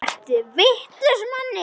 Ertu vitlaus Manni!